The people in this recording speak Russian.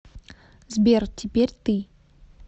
сбер теперь ты